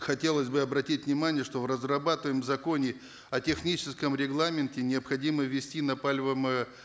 хотелось бы обратить внимание что в разрабатываемом законе о техническом регламенте необходимо ввести на